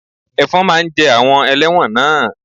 Ẹ̀fọn máa ń jẹ àwọn ẹlẹ́wọ̀n náà